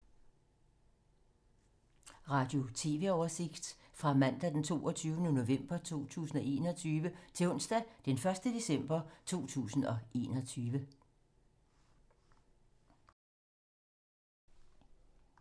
Radio/TV oversigt fra mandag d. 22. november 2021 til onsdag d. 1. december 2021